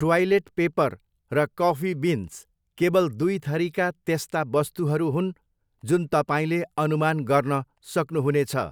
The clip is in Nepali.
ट्वाइलेट पेपर र कफी बिन्स केवल दुइथरीका त्यस्ता वस्तुहरू हुन्, जुन तपाईँले अनुमान गर्न सक्नुहुनेछ।